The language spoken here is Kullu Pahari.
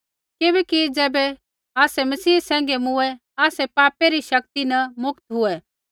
किबैकि ज़ैबै आसै मसीह सैंघै मूँऐं आसै पापा री शक्ति न मुक्त हुऐ